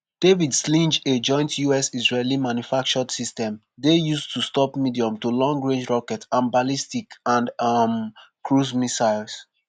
david sling - a joint us-israeli manufactured system - dey used to stop medium to long-range rockets and ballistic and um cruise missiles.